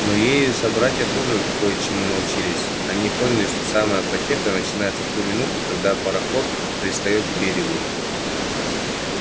но ею собратья тоже кое чему научились они поняли что самая потеха начинается в ту минуту когда пароход пристаёт к берегу